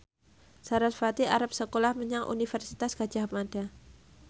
sarasvati arep sekolah menyang Universitas Gadjah Mada